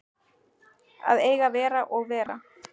Að eiga að vera og vera